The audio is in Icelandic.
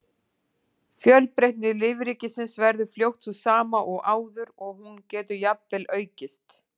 Fjölbreytni lífríkisins verður fljótt sú sama og áður og hún getur jafnvel aukist.